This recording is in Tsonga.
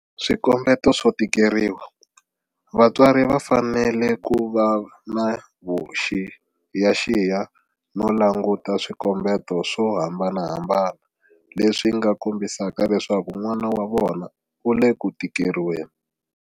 Swikombeto swo tikeriwa Vatswari va fanele ku va na vuxiyaxiya no languta swikombeto swo hambanahambana leswi nga kombisaka leswaku n'wana wa vona u le ku tikeriweni.